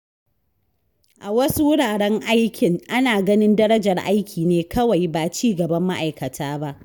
A wasu wuraren aikin, ana ganin darajar aiki ne kawai, ba ci gaban ma’aikata ba.